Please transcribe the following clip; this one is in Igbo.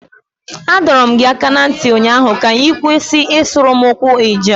Adọọrọ m gị aka na ntị ụnyaahụ ka ị kwụsị ịsuru m okwu Ijaw